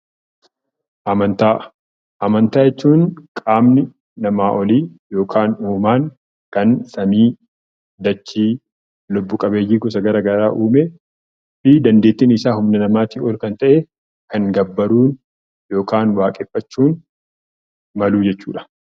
Amantaa jechuun kan qaamni namaa olii yookiin waaqni kan dachee, samii fi lubbu qabeeyyii garagaraa uume fi dandeettiin isaa kan namaatii ol ta'e gabbaruu yookiin waaqeffachuu jechuudha.